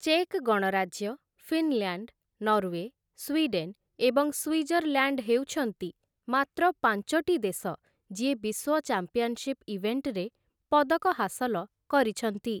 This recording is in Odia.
ଚେକ୍ ଗଣରାଜ୍ୟ, ଫିନଲ୍ୟାଣ୍ଡ, ନରୱେ, ସ୍ୱିଡେନ୍ ଏବଂ ସ୍ୱିଜରଲ୍ୟାଣ୍ଡ ହେଉଛନ୍ତି ମାତ୍ର ପାଞ୍ଚଟି ଦେଶ ଯିଏ ବିଶ୍ୱ ଚାମ୍ପିଅନଶିପ୍‌ ଇଭେଣ୍ଟରେ ପଦକ ହାସଲ କରିଛନ୍ତି ।